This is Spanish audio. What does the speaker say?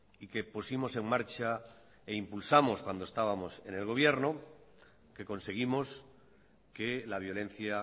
y que pusimos en marcha e impulsamos cuando estábamos en el gobierno que conseguimos que la violencia